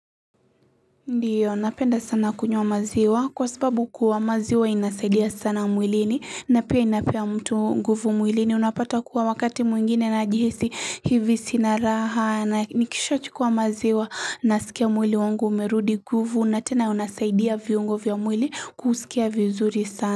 Ndiyo napenda sana kunywa maziwa kwasababu kuwa maziwa inasaidia sana mwilini napia inapea mtu nguvu mwilini unapata kuwa wakati mwingine najihisi hivi sina raha na nikisha chukuwa maziwa nasikia mwili wangu umerudi nguvu natena unasaidia viungo vya mwili kusikia vizuri sana.